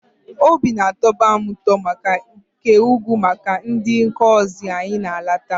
O bi na-atọba m ụtọ nke ukwu maka na ndị kọzị anyị na-alata.